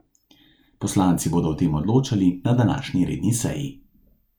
Poslanci bodo o tem odločali na današnji redni seji.